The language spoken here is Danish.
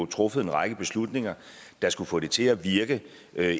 truffet en række beslutninger der skulle få det til at virke